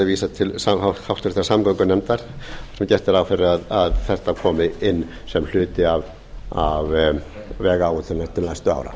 vísað til háttvirtrar samgöngunefndar þar sem gert er ráð fyrir að þetta komi inn sem hluti af vegáætlun til næstu ára